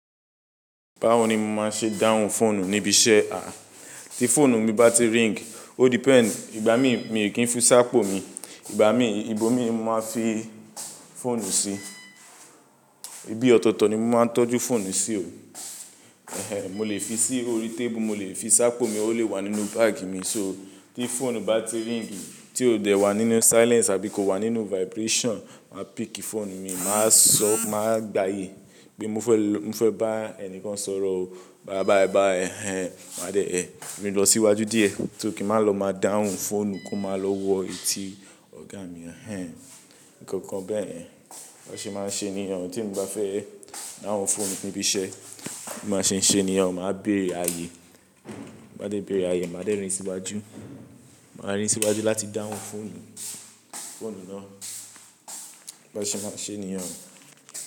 Báwo ni mo máa ṣe dáhùn fóònù níbi iṣẹ́? À, tí fóònù mi bá ti ring, o depend, ìgbà mí, mi ò kí ń fi sápò mi. Ìgbà mí, ibo mi ni mo máa fi fóònù sí. Ibi ọ̀tọ̀tọ̀ ni mo máa ń tọ́jú fóònù sí o. Ehen, mo lè fi sí orí tébù, mo lè fi sápò mi, o lè wà nínú báàgì mi. So tí fóònù bá ti ring, tí ó dẹ̀ wà nínú silence àbí kò wà nínú vibration, mà pick fóònù mi, mà sọ, mà gbàyè pé mo fẹ́, mo fẹ́ bá ẹni kan sọ̀rọ̀ o. Bàa báyì báyì, ẹhen. Mà dé ẹ, rìn lọ síwájú díẹ̀, tó kí n máa lọ, máa dáhùn fóònù kó máa lọ wo etí ọ̀gá mi, ẹhen. Ìkankan bẹ́ẹ̀. Bí wọn ṣe máa ń ṣe ènìyàn, tí mo bá fẹ́ dáhùn fóònù níbi iṣẹ́, bí wọn ṣe ń ṣe ènìyàn, màá bèrè àyè. Bí mo bá dé bèrè àyè, màá dè rìn síwájú. Màá rìn síwájú láti dáhùn fóònù, fóònù náà. Bí wọn ṣe máa ń ṣe ènìyàn.